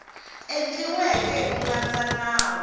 endliweke hi ku landza nawu